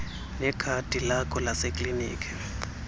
nekhadi lakho lasekliniki